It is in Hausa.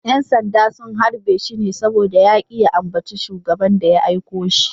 ‘Yan sanda sun harbe shi ne saboda ya ki ya ambaci Shugaban da ya aiko shi.